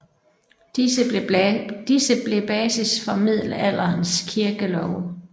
Disse blev basis for middelalderens kirkelove